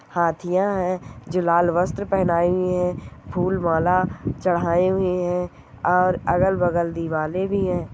हाथिया है जो लाल वस्त्र पहनाई हुई है फूल माला चढ़ाई हुइ है और अगल बगल दीवारे भी है।